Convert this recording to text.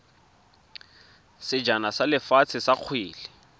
sejana sa lefatshe sa kgwele